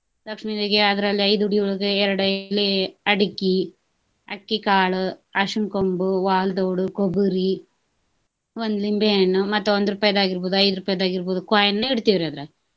ಲಕ್ಷ್ಮೀದೇವಿಗೆ ಆದ್ರ ಅಲ್ಲಿ ಐದ್ ಉಡಿಯೊಳಗ ಎರ್ಡ್ ಎಲಿ, ಅಡಿಕಿ, ಅಕ್ಕಿಕಾಳ್, ಅರ್ಶಿನ್ ಕೊಂಬು, , ಕೊಬರಿ, ಒಂದ ಲಿಂಬೆ ಹಣ್ಣು, ಮತ್ತ ಒಂದ ರೂಪಾಯಿದ ಆಗಿರ್ಬಹುದು ಐದ ರೂಪಾಯಿದ ಆಗಿರ್ಬಹುದು coin ನ ಇಡ್ತಿವ್ರಿ ಅದ್ರಾಗ.